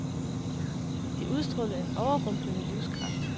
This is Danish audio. De udstrålede en overrumplende livskraft.